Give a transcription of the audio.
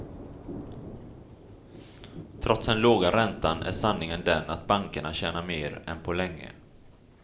Trots den låga räntan är sanningen den att bankerna tjänar mer än på länge.